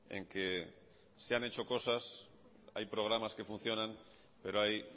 en que se han hecho cosas hay programas que funcionan pero hay